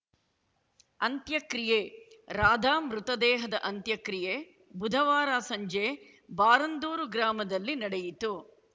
ಅಂತ್ಯಕ್ರಿಯೆ ರಾಧಾ ಮೃತದೇಹದ ಅಂತ್ಯಕ್ರಿಯೆ ಬುಧವಾರ ಸಂಜೆ ಬಾರಂದೂರು ಗ್ರಾಮದಲ್ಲಿ ನಡೆಯಿತು